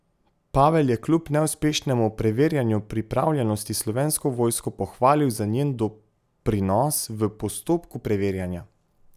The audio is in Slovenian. Pavel je kljub neuspešnemu preverjanju pripravljenosti Slovensko vojsko pohvalil za njen doprinos v postopku preverjanja.